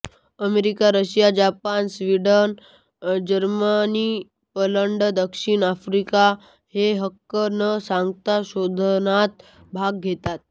America Russia Japan Sweden Germany Poland दक्षिण Africa हे हक्क न सांगता संशोधनात भाग घेतात